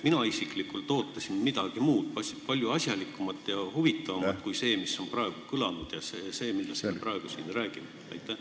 Mina isiklikult ootasin midagi muud – palju asjalikumat ja huvitavamat juttu kui see, mis on juba kõlanud, ja see, millest me praegu räägime.